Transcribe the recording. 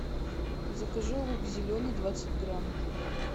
закажи лук зеленый двадцать грамм